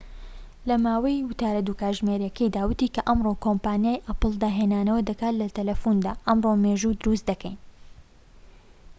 لەماوەی وتارە ٢ کاتژمێریەکەیدا، وتی کە ئەمڕۆ کۆمپانیای ئاپڵ داهێنانەوە دەکات لە تەلەفوندا، ئەمڕۆ مێژوو دروست دەکەین